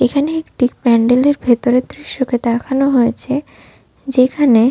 এখানে একটি প্যান্ডেলের ভেতরে দৃশ্যকে দেখানো হয়েছে যেখানে --